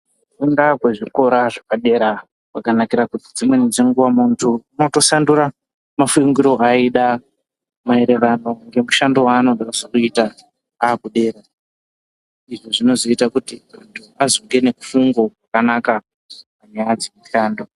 Kufunda kwezvikora zvepadera kwakanakira kuti dzimweni dzenguwa muntu unotosandura mafungiro aida maererano ngemushando waanode kuzoita kana akudera izvi zvinozoita kuti azobude nemifungo yakanaka panyaya dzemishando.